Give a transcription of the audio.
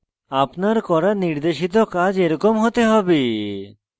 আপনার করা নির্দেশিত কাজ এরকম হতে হবে